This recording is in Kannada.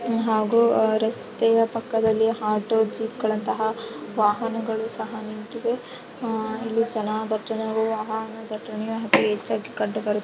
ಹಾಗೂ ರಸ್ತೆಯ ಪಕ್ಕದಲ್ಲಿ ಆಟೋ ಜೀಪ್ ಗಳಂತಹ ವಾಹನಗಳು ಸಹ ನಿಂತಿವೆ ಅಹ್ ಇಲ್ಲಿ ಜನ ಪಟ್ಟಣ ಹಾಗೂ ಹಣ ಪಟ್ಟಣ ಹೆಚ್ಚಾಗಿ ಕಂಡುಬರು --